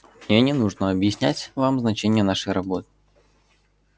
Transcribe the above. мне не нужно объяснять вам значение нашей работы